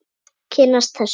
Kynnast þessu.